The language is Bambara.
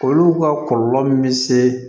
Olu ka kɔlɔlɔ min se